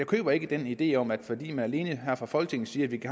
køber ikke den idé om at fordi man alene her fra folketingets side